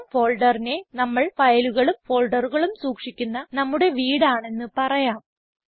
home ഫോൾഡറിനെ നമ്മൾ ഫയലുകളും ഫോൾഡറുകളും സൂക്ഷിക്കുന്ന നമ്മുടെ വീട് ആണെന്ന് പറയാം